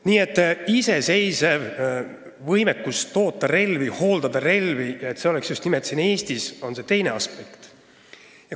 Nii et iseseisev võimekus toota ja hooldada relvi just nimelt siin Eestis on see teine aspekt.